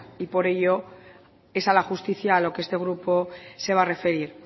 y por ello es a la justicia lo que este grupo se va a referir